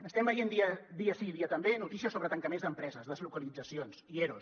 estem veient dia sí i dia també notícies sobre tancaments d’empreses deslocalitzacions i eros